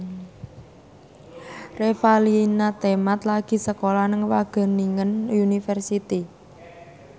Revalina Temat lagi sekolah nang Wageningen University